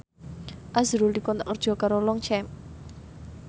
azrul dikontrak kerja karo Longchamp